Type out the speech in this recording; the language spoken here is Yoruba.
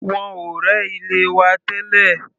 Wọ́n ò rẹ́ ilé wa tẹ́lẹ̀.